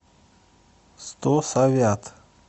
сто совят